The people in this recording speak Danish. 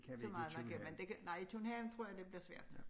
Så meget man kan men det kan nej i tunnelen tror jeg det bliver svært